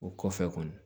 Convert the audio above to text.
O kɔfɛ kɔni